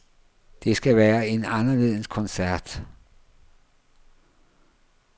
Det skal være en anderledes koncert.